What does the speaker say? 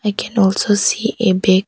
I can also see a bag.